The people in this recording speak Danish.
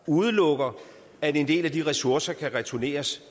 udelukker at en del af de ressourcer kan returneres